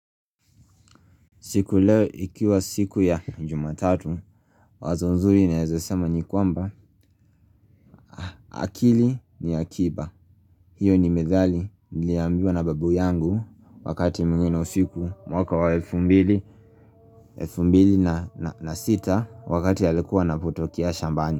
Siku leo ikiwa siku ya jumatatu, wazo nzuri naezesema ni kwamba, akili ni akiba. Hiyo ni methali niliambiwa na babu yangu wakati mwingine usiku mwaka wa elfu mbili, elfu mbili na sita wakati alikuwa anapotokea shambani.